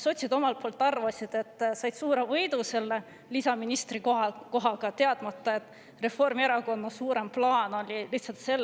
Sotsid arvasid, et nad said suure võidu selle lisaministri kohaga, teadmata, et Reformierakonna suurem plaan oli lihtsalt see,